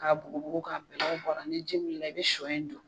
K'a bugubugu k'a bɛlɛw bɔ a ra ni ji wuli la i bɛ shɔ in don.